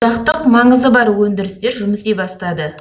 одақтық маңызы бар өндірістер жұмыс істей бастады